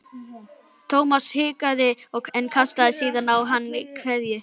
Thomas hikaði en kastaði síðan á hann kveðju.